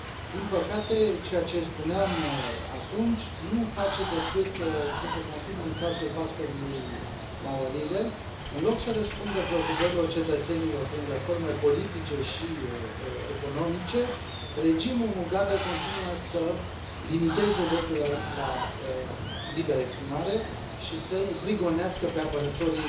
Din păcate, ceea ce spuneam atunci nu face decât să se confirme în cazul pastorului Mawarire. În loc să răspundă preocupărilor cetățenilor prin reforme politice și economice, regimul Mugabe continuă să limiteze dreptul la liberă exprimare și să i prigonească pe apărătorii